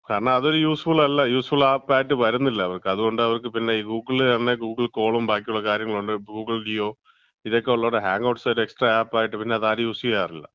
കാരണം അതൊരു യൂസ്ഫുൾ അല്ല, യൂസ്ഫുൾ ആപ്പായിട്ട് വരുന്നില്ല അവർക്ക്. അതുകൊണ്ട് അവർക്ക്, പിന്നെ ഗൂഗിൾ തന്നെ ഗൂഗിൾ കോളും, ബാക്കിയുള്ള കാര്യങ്ങളുണ്ട് ഗൂഗിൾ ഡിയോ ഇതൊക്കെയുള്ളതോണ്ട് ഹാങ്ഔട്ട്സ് ഒരു എക്സട്രാ ആപ്പായിട്ട് പിന്നെ അത് ആരും യൂസ് ചെയ്യാറില്ല.